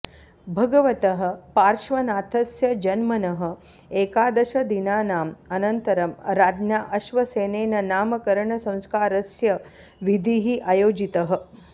भगवतः पार्श्वनाथस्य जन्मनः एकादशदिनानाम् अनन्तरं राज्ञा अश्वसेनेन नामकरणसंस्कारस्य विधिः आयोजितः